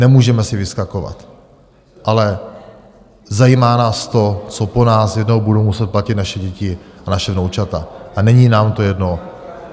Nemůžeme si vyskakovat, ale zajímá nás to, co po nás jednou budou muset platit naše děti a naše vnoučata, a není nám to jedno.